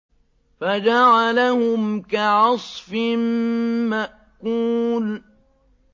فَجَعَلَهُمْ كَعَصْفٍ مَّأْكُولٍ